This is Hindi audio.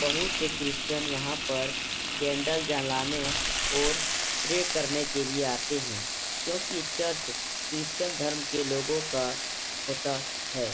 बहुत से क्रिश्चन यहाँ पर केंडल जलाने ओर प्रे करने के लिए आते हैं। क्योंकि चर्च क्रिश्चन धर्म के लोगों का होता है।